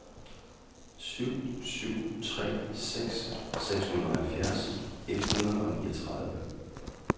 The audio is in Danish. syv syv tre seks seksoghalvfjerds et hundrede og niogtredive